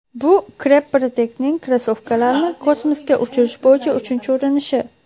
Bu Crep Protect’ning krossovkalarni kosmosga uchirish bo‘yicha uchinchi urinishi.